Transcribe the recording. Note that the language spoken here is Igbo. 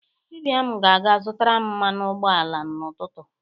Ibiam ga-aga zụtaram mmanụ ụgbọ ala n'ụtụtụ.